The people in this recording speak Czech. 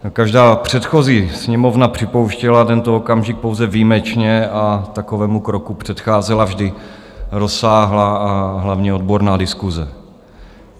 Každá předchozí Sněmovna připouštěla tento okamžik pouze výjimečně a takovému kroku předcházela vždy rozsáhlá a hlavně odborná diskuse.